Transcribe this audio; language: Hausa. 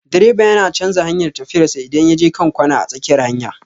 Direba yana canja hanyar tafiyan sa idan ya je kan kwana a tsakiyar hanya